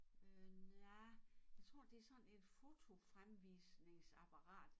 Øh nej tror det sådan et fotofremvisningsapparat